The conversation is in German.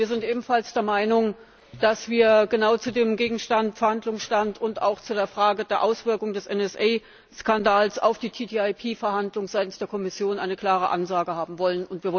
Wir sind ebenfalls der Meinung, dass wir genau zu dem gegenwärtigen Verhandlungsstand und auch zu der Frage der Auswirkung des NSA Skandals auf die TDIP Verhandlung seitens der Kommission eine klare Ansage haben wollen.